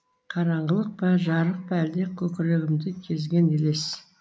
қараңғылық па жарық па әлде көкірегімді кезген елес